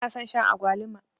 bana son Shan agwaluma